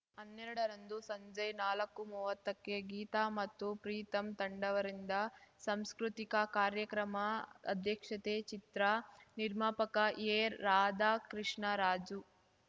ಅನ್ನೆರಡರಂದು ಸಂಜೆ ನಾಲ್ಕುಮುವ್ವತ್ತಕ್ಕೆ ಗೀತಾ ಮತ್ತು ಪ್ರೀತಮ್ ತಂಡವರಿಂದ ಸಾಂಸ್ಕೃತಿಕ ಕಾರ್ಯಕ್ರಮ ಅಧ್ಯಕ್ಷತೆ ಚಿತ್ರ ನಿರ್ಮಾಪಕ ಎರಾಧಾಕೃಷ್ಣ ರಾಜು